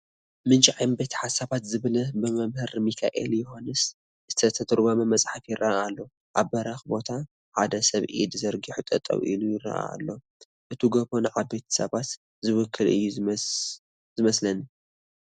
ምንጪ ዓበይቲ ሓሳባት ዝብል ብመምህር ሚኪኤል ዮሃንስ ዝተተርጎመ መፅሓፍ ይርአ ኣሎ፡፡ ኣብ በሪኽ ቦታ ሓደ ሰብ ኢዱ ዘርጊሑ ጠጠው ኢሉ ይርአ ኣሎ፡፡ እቲ ጐቦ ንዓበይቲ ሓሳብ ዝውክል እዩ ዝመስለኒ፡፡